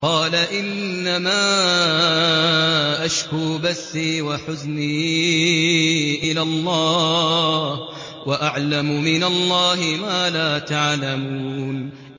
قَالَ إِنَّمَا أَشْكُو بَثِّي وَحُزْنِي إِلَى اللَّهِ وَأَعْلَمُ مِنَ اللَّهِ مَا لَا تَعْلَمُونَ